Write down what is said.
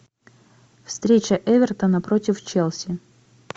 встреча эвертона против челси